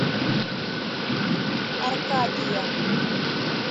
аркадия